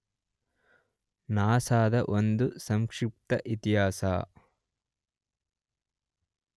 NASA ದ ಒಂದು ಸಂಕ್ಷಿಪ್ತ ಇತಿಹಾಸ